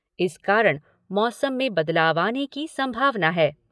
इस कारण मौसम में बदलाव आने की संभावना है।